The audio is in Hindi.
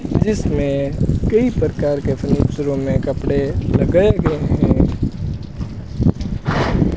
जिसमें कई प्रकार के उस रूम में कपड़े लगाए गए हैं।